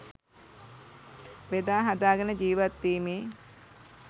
බෙදා හදාගෙන ජීවත්වීමේ